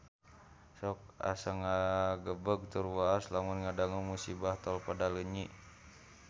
Sok asa ngagebeg tur waas lamun ngadangu musibah di Tol Padaleunyi